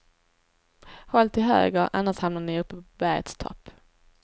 Håll till höger, annars hamnar ni uppe på bergets topp.